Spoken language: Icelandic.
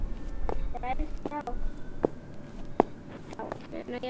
Já, allt ræðst þá.